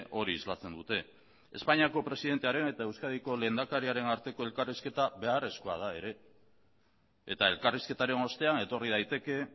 hori islatzen dute espainiako presidentearen eta euskadiko lehendakariaren arteko elkarrizketa beharrezkoa da ere eta elkarrizketaren ostean etorri daiteke